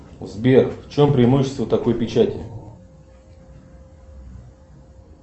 сбер в чем преимущество такой печати